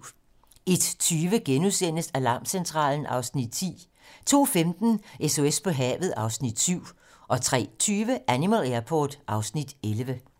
01:20: Alarmcentralen (Afs. 10)* 02:15: SOS på havet (Afs. 7) 03:20: Animal Airport (Afs. 11)